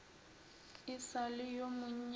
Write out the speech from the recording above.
e sa le yo monnyane